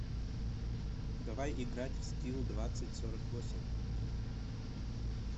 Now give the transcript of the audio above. давай играть в скилл двадцать сорок восемь